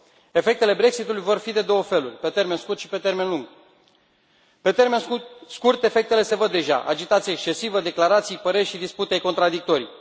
Efectele Brexit ului vor fi de două feluri pe termen scurt și pe termen lung. Pe termen scurt efectele se văd deja agitație excesivă, declarații, păreri și dispute contradictorii.